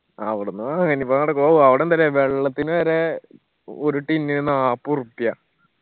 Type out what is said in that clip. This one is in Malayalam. അവ്ട്ന്ന് ഇനിയിപ്പോ നടക്കോ അവടെ എന്താല്ലേ വെള്ളത്തിന് വരെ ഒരു tin ന് നാപ്പ് ഉർപ്യ